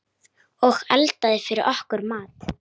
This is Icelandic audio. Og eldaði fyrir okkur mat.